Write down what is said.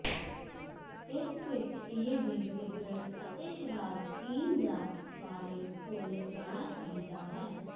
ਇਸ ਵਿਚ ਇਹ ਵੀ ਸਿਗਰਟ ਅਤੇ ਸ਼ਰਾਬ ਪੀਣ ਦਾ ਬਾਰੇ ਭੁੱਲ ਜਾਣਾ ਚਾਹੀਦਾ ਹੈ